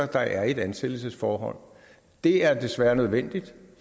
der er i et ansættelsesforhold det er desværre nødvendigt